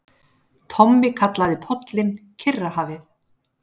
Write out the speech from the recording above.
Tommi kallaði pollinn Kyrrahafið.